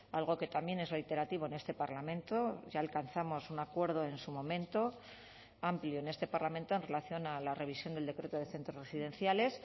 algo que también es reiterativo en este parlamento ya alcanzamos un acuerdo en su momento amplio en este parlamento en relación a la revisión del decreto de centros residenciales